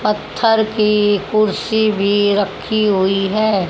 पत्थर की कुर्सी भीं रखीं हुई हैं।